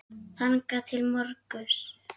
þangað til á morgun?